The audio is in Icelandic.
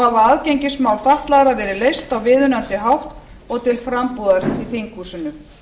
aðgengismál fatlaðra verið leyst á viðunandi hátt og til frambúðar í þinghúsinu